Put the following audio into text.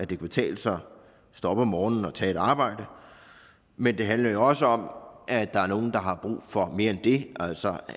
kan betale sig at stå op om morgenen og tage på arbejde men det handler også om at der er nogle der har brug for mere end det altså